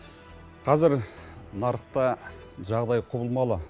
қазір нарықта жағдай құбылмалы